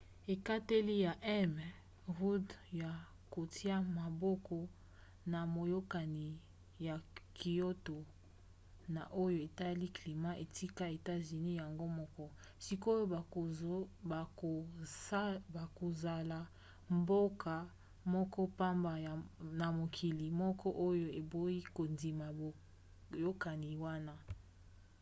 ekateli ya m. rudd ya kotia maboko na boyokani ya kyoto na oyo etali climat etika etats-unis yango moko; sikoyo bakozala mboka moko pamba na mokili moko oyo eboyi kondima boyokani wana